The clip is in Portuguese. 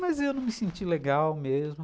Mas eu não me senti legal mesmo.